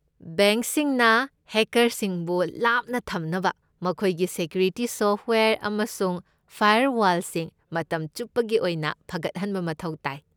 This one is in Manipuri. ꯕꯦꯡꯛꯁꯤꯡꯅ ꯍꯦꯀꯔꯁꯤꯡꯕꯨ ꯂꯥꯞꯅ ꯊꯝꯅꯕ ꯃꯈꯣꯏꯒꯤ ꯁꯦꯀ꯭ꯌꯨꯔꯤꯇꯤ ꯁꯣꯐꯠꯋꯦꯌꯔ ꯑꯃꯁꯨꯡ ꯐꯥꯏꯔꯋꯥꯜꯁꯤꯡ ꯃꯇꯝ ꯆꯨꯞꯄꯒꯤ ꯑꯣꯏꯅ ꯐꯒꯠꯍꯟꯕ ꯃꯊꯧ ꯇꯥꯏ꯫